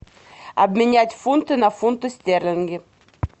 обменять фунты на фунты стерлинги